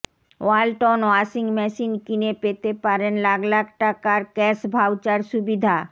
Walton washing machine কিনে পেতে পারেন লাখ লাখ টাকার ক্যাশ ভাউচার সুবিধা